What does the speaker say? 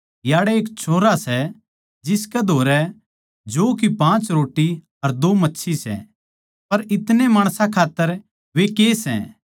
याड़ै एक छोरा सै जिसकै धोरै जौ की पाँच रोट्टी अर दो मच्छी सै पर इतणे माणसां खात्तर वे के सै